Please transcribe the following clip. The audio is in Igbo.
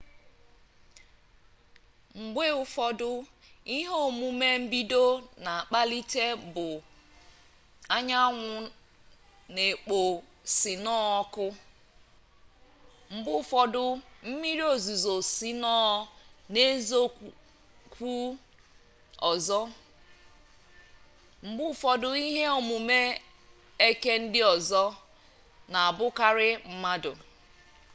mgbe ụfọdụ ihe omume mbido na-akpalite bụ anyanwụ na-ekpo sinoo ọkụ mgbe ụfọdụ mmiri ozuzo sinoo na-ezokwu ọzọ mgbe ụfọdụ ihe omume eke ndị ọzọ na-abụkarị mmadụ